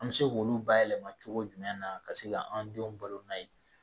An bɛ se k'olu bayɛlɛma cogo jumɛn na ka se ka an denw balo n'a ye